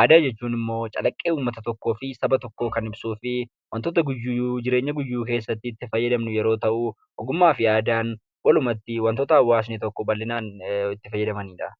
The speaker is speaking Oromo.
aadaa jechuun immoo calaqqee uumata tokkoo fi saba tokkoo kan ibsuu fi wantoota jireenya guyyuu keessatti itti fayyadamnu yoo ta’u, ogummaa fi aadaan walumaa galatti waantoota hawaasni tokko baldhinaan itti fayyadamanidha.